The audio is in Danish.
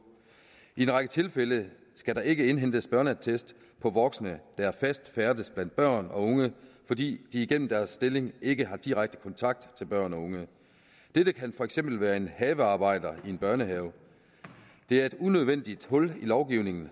i en række tilfælde skal der ikke indhentes børneattest for voksne der fast færdes blandt børn og unge fordi de igennem deres stilling ikke har direkte kontakt til børn og unge dette kan for eksempel være en havearbejder i en børnehave det er et unødvendigt hul i lovgivningen